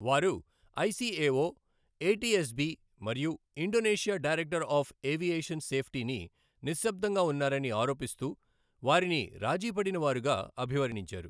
వారు ICAO, ATSB మరియు Indonesia director of aviation సేఫ్టీని నిశ్శబ్దంగా ఉన్నారని ఆరోపిస్తూ, వారిని రాజీ పడిన వారుగా అభివర్ణించారు.